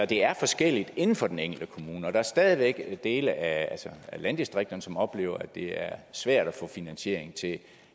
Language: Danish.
det er forskelligt inden for den enkelte kommune og der er stadig væk dele af landdistrikterne som oplever at det er svært at få finansiering til